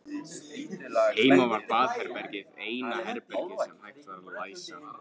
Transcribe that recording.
Heima var baðherbergið eina herbergið sem hægt var að læsa.